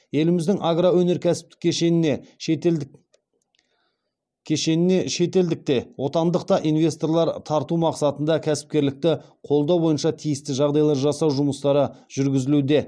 еліміздің агроөнеркәсіптік кешеніне шетелдік те отандық та инвесторлар тарту мақсатында кәсіпкерлікті қолдау бойынша тиісті жағдайлар жасау жұмыстары жүргізілуде